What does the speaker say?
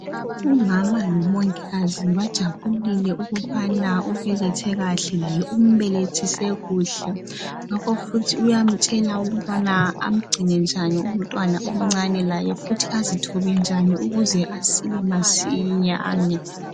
Umama lomongikazi bajabulile ukubana ubelethe kahle, umbelethise kuhle ngakho futhi uyamtshela ukubana amgcine njani umntwana omcane laye futhi azithobe njani ukuze asile masinyane.